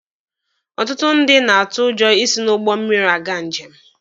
Ọtụtụ ndị na-atụ ụjọ isi n'ụgbọ mmiri aga njem.